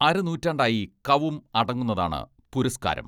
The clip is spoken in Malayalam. അരനൂറ്റാണ്ടായി കവും അടങ്ങുന്നതാണ് പുരസ്കാരം.